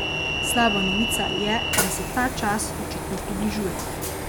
Slaba novica je, da se ta čas očitno približuje.